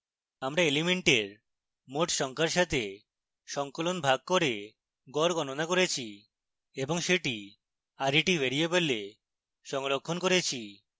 আমরা elements মোট সংখ্যার সাথে সঙ্কলন ভাগ করে গড় গণনা করেছি এবং সেটি ret ভ্যারিয়েবলে সংরক্ষণ করেছি